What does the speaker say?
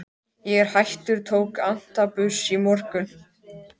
Ég er hættur, tók antabus í morgun.